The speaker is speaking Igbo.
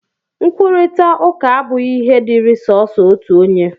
Nkwurịta ụka abụghị ihe dịịrị sọọsọ otu onye